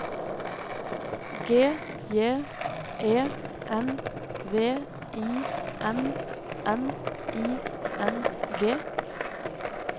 G J E N V I N N I N G